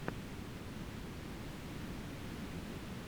икс икс икс тентасьон